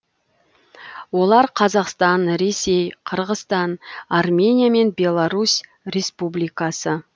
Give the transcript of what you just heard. олар қазақстан ресей қырғызстан армения мен беларусь республикасы